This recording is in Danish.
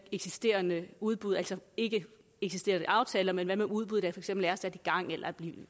eksisterende udbud altså ikke eksisterende aftaler men udbud eksempel er sat